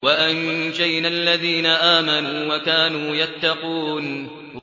وَأَنجَيْنَا الَّذِينَ آمَنُوا وَكَانُوا يَتَّقُونَ